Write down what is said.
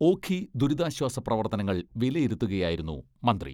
ഓഖി ദുരിതാശ്വാസ പ്രവർത്തനങ്ങൾ വിലയിരുത്തുകയായിരുന്നു മന്ത്രി.